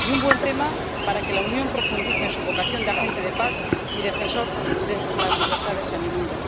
y un buen tema para que la Unión profundice en su vocación de agente de paz y defensora de las libertades en el mundo.